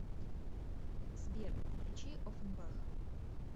сбер включи офенбах